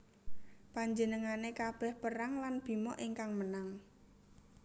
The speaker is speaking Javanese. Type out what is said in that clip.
Panjenengane kabeh perang lan Bima ingkang menang